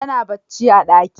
Tana bacci a daki.